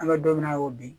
An bɛ don min na i ko bi